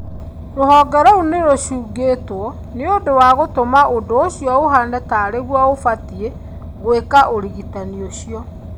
Rũhonge rou nĩ rũcũngetwo nĩũndũ wa gũtũma ũndũ ũcio ũhane tarĩ guo gũbatie gũĩka ũrigitani ũcio.